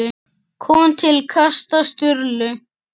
kom til kasta Sturlu.